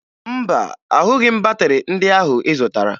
Mba, ahụghị m batịrị ndị ahụ ị zụtara